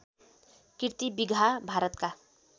किर्ति बिगहा भारतका